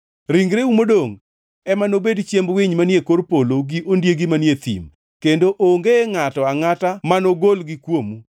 Ringreu modongʼ ema nobed chiemb winy manie kor polo gi ondiegi manie thim, kendo onge ngʼato angʼata manogolgi kuomu.